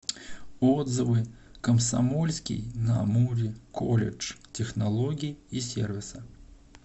отзывы комсомольский на амуре колледж технологий и сервиса